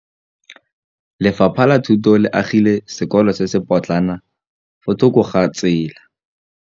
Lefapha la Thuto le agile sekôlô se se pôtlana fa thoko ga tsela.